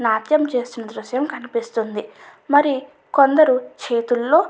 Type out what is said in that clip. నాట్యం చేస్తున్న దృశ్యం కనిపిస్తుంది. మరి కొందరు చేతులో --